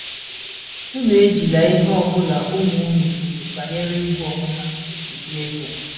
Unu ejila ihe ọ bụla ụmụ unu kwuru banyere igbu onwe ha gwurie egwu.